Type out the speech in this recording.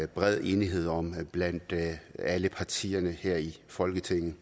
bred enighed om blandt alle partier her i folketinget